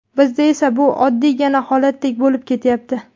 Bizda esa bu oddiygina holatdek bo‘lib ketyapti.